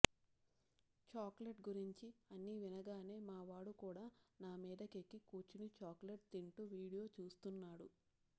chocolate గురించి అని వినగానే మా వాడు కూడా నా మీదకెక్కి కూర్చుని చాక్లెట్ తింటూ వీడియో చూస్తున్నాడు